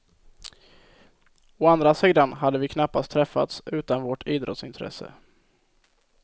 Å andra sidan hade vi knappast träffats utan vårt idrottsintresse.